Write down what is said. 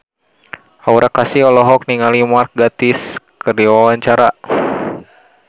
Aura Kasih olohok ningali Mark Gatiss keur diwawancara